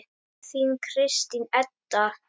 Þín Kristín Edda.